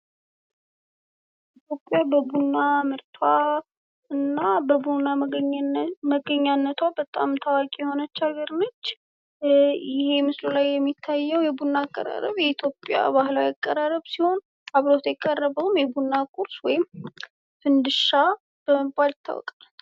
ኢትዮጵያ በቡና ምርቷ እና በቡና መገኛነቷ በጣም ታዋቂ ነች። ይሄ በምስሉ ላይ የምንመለከተው የቡና አቀራረብ የኢትዮጵያ ባህላዊ አቀራረብ ሲሆን አብሮት የቀረበውም የቡና ቁርስ ወይም ፈዲሻ በመባል ይታወቃል።